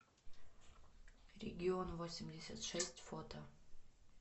регионвосемьдесятшесть фото